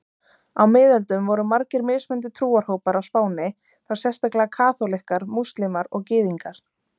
Á miðöldum voru margir mismunandi trúarhópar á Spáni, þá sérstaklega kaþólikkar, múslímar og gyðingar.